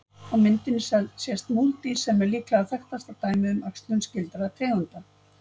Á myndinni sést múldýr sem er líklega þekktasta dæmið um æxlun skyldra tegunda.